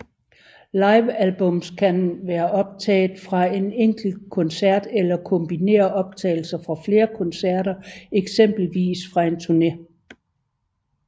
Livealbums kan være optaget fra en enkelt koncert eller kombinere optagelser fra flere koncerter eksempelvis fra en turne